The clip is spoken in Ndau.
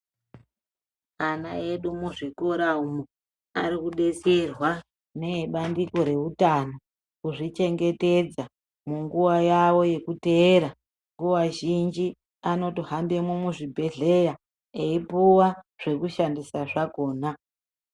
Ana edu muzvikora umu vari kudetserwa neebandiko rezveutano kuzvichengetedza panguwa yavo yekuteera. Nguwa zhinji vanotohamba muzvibhedhlera eipuwa zvekushandisa zvakhona.